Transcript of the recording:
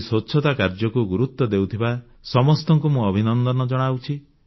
ଏହି ସ୍ୱଚ୍ଛତା କାର୍ଯ୍ୟକୁ ଗୁରୁତ୍ୱ ଦେଉଥିବା ସମସ୍ତଙ୍କୁ ମୁଁ ଅଭିନନ୍ଦନ ଜଣାଉଛି